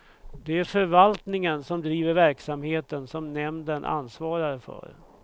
Det är förvaltningen som driver verksamheten som nämnden ansvarar för.